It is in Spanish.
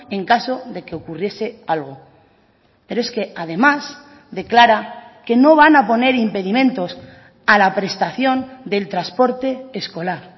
en caso de que ocurriese algo pero es que además declara que no van a poner impedimentos a la prestación del transporte escolar